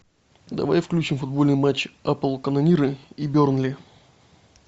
давай включим футбольный матч апл канониры и бернли